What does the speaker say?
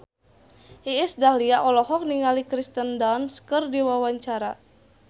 Iis Dahlia olohok ningali Kirsten Dunst keur diwawancara